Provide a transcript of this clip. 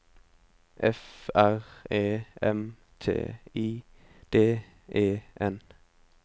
F R E M T I D E N